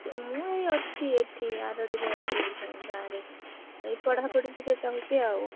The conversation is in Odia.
ମୁଁ ଏଇ ଅଛି, ଏଠି ଆରଡିରେ ଅଛି, ଇଠେଇଁ ଗାଁରେ ଏଇ ପଢାପଢି ଟିକେ କରୁଛି ଆଉ।